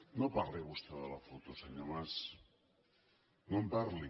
no parli vostè de la foto senyor mas no en parli